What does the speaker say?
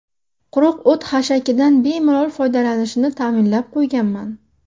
Quruq o‘t-hashakidan bemalol foydalanishini ta’minlab qo‘yganman.